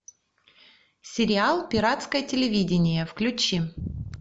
сериал пиратское телевидение включи